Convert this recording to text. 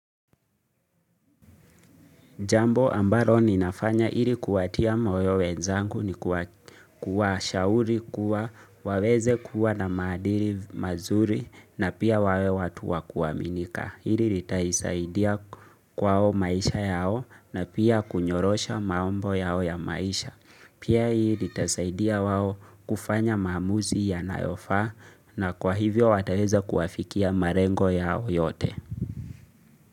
Jambo ambalo ninafanya ili kuwatia moyo wenzangu ni kuwa shauri kuwa waweze kuwa na maandiri mazuri na pia wawe watu wakuaminika. Hili litaisaidia kwao maisha yao na pia kunyorosha mambo yao ya maisha. Pia hii litaisaidia wao kufanya maamuzi yanayofaa na kwa hivyo wataweza kuafikia marengo yao yote.